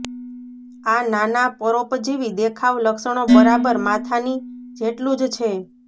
આ નાના પરોપજીવી દેખાવ લક્ષણો બરાબર માથાની જેટલું જ છે